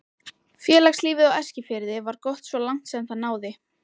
Félagslífið á Eskifirði var gott svo langt sem það náði.